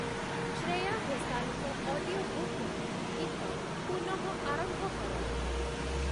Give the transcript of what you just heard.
ଶ୍ରେୟା ଘୋଷାଲଙ୍କ ଅଡିଓବୁକ୍ ରୁ ଗୀତ ପୁନଃ ଆରମ୍ଭ କର